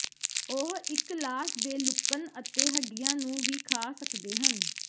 ਉਹ ਇਕ ਲਾਸ਼ ਦੇ ਲੁਕਣ ਅਤੇ ਹੱਡੀਆਂ ਨੂੰ ਵੀ ਖਾ ਸਕਦੇ ਹਨ